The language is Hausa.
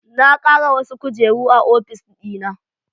Na kara wasu kujeru a ofis dina